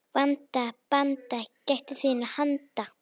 Vanda, banda, gættu þinna handa.